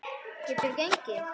Geturðu gengið?